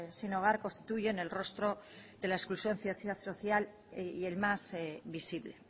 sin hogar constituyen el rostro de la exclusión social y el más visible